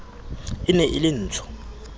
e ne e le ntsho